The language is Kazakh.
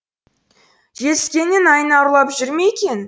жетіскеннен айна ұрлап жүр ме екен